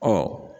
Ɔ